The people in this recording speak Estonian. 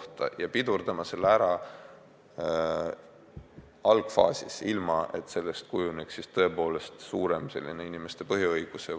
Seda tuleb pidurdada kohe algfaasis, nii et sellest ei kujuneks suurem inimeste põhiõiguste